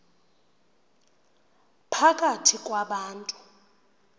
phakathi kwa bantu